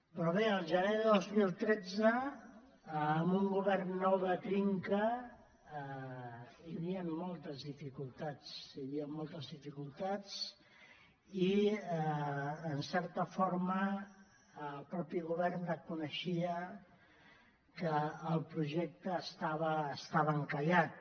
però bé el gener del dos mil tretze amb un govern nou de trinca hi havien moltes dificultats hi havien moltes dificultats i en certa forma el mateix govern reconeixia que el projecte estava encallat